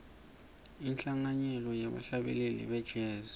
inhlanganyelo yebahlabeleli be jazz